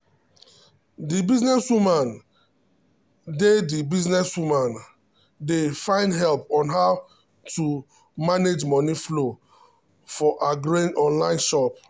the businesswoman dey the businesswoman dey find help on how to manage money flow for her growing online shop.